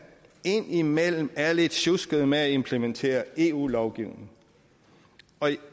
indimellem er lidt sjuskede med at implementere eu lovgivning og jeg